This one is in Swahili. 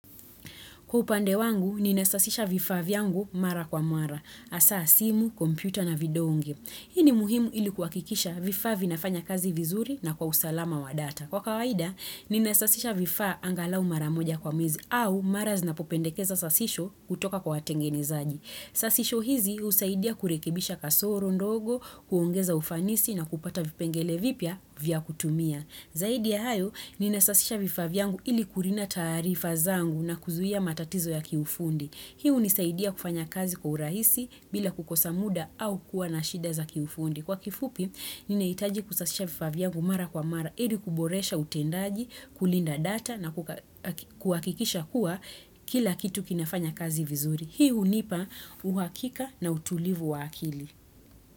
Kwa upande wangu, ninasasisha vifaa vyangu mara kwa mara, asaa simu, kompyuta na video unge. Hii ji muhimu ilikuwa kikisha vifaa vinafanya kazi vizuri na kwa usalama wa data. Kwa kawaida, ninesasisha vifaa angalau mara moja kwa mwezi au mara zinapopendekeza sasisho kutoka kwa watengenezaji. Sasisho hizi husaidia kurekibisha kasoro ndogo, kuongeza ufanisi na kupata vipengele vipya vya kutumia. Zaidi ya hayo, nina sasisha vifavyangu ili kurinda tarifa zangu na kuzuia matatizo ya kiufundi. Hii hunisaidia kufanya kazi kwa urahisi bila kukosa muda au kuwa na shida za kiufundi. Kwa kifupi, nina itaji kusasisha vifavyangu mara kwa mara, ili kuboresha utendaji, kulinda data na kuakikisha kuwa kila kitu kinafanya kazi vizuri. Hii hunipa uhakika na utulivu wa akili.